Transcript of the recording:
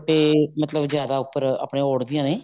ਦੁਪੱਟੇ ਮਤਲਬ ਜਿਆਦਾ ਉੱਪਰ ਆਪਣੇ ਓਡਦੀਆਂ ਨੇ